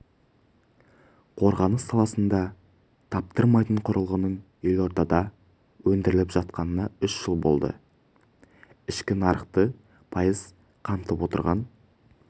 қорғаныс саласында таптырмайтын құрылғының елордада өндіріліп жатқанына үш жыл болды ішкі нарықты пайыз қамтып отырған